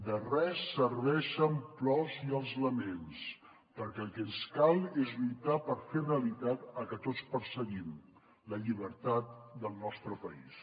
de res serveixen plors i els laments perquè el que ens cal és lluitar per fer realitat el que tots perseguim la llibertat del nostre país